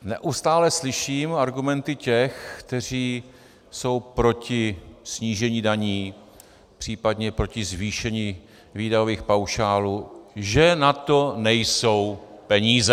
Neustále slyším argumenty těch, kteří jsou proti snížení daní, případně proti zvýšení výdajových paušálů, že na to nejsou peníze.